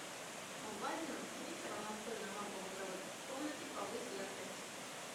в одиннадцать вечера настольная лампа в игровой комнате повысь яркость